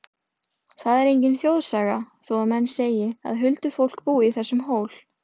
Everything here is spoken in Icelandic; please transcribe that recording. Það er engin þjóðsaga, þó að menn segi, að huldufólk búi í þessum hól.